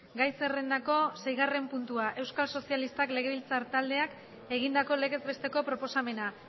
gai zerrendako seigarren puntua euskal sozialistak legebiltzar taldeak egindako legez besteko proposamena